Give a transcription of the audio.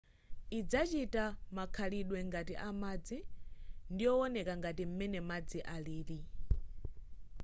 idzachita makhalidwe ngati amadzi ndiyowoneka ngati m'mene madzi alili